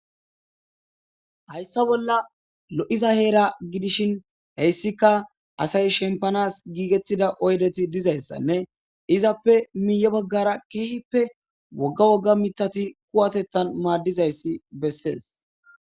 Hayssa bolla lo'iza heera gidishin heyssika asay shempanas giigettida oydeti dizayssanne izappe miiye baggara keehippe wogga wogga mitati kuwatethan maaddizayssi bessees.